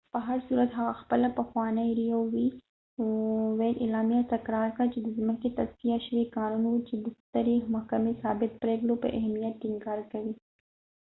په هرصورت هغه خپله پخوانۍ اعلامیه تکرار کړه چې roe v wade د ځمکې تصفیه شوی قانون و چې د سترې محکمې ثابت پریکړو پر اهمیت ټینګار کوي